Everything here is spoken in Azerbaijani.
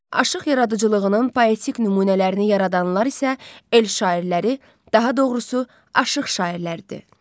Aşıq yaradıcılığının poetik nümunələrini yaradanlar isə el şairləri, daha doğrusu, aşıq şairləridir.